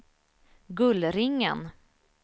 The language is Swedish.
Gullringen